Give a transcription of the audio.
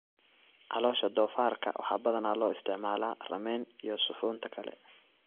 Caloosha doofaarka waxaa badanaa loo isticmaalaa ramen iyo suxuunta kale.